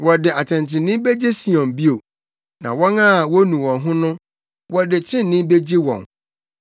Wɔde atɛntrenee begye Sion bio, na wɔn a wonu wɔn ho no, wɔde trenee begye wɔn.